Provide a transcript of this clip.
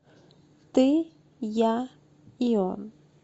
ты я и он